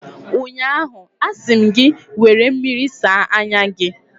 ụnyaahụ, a sị m gị, were mmiri saa anya gị!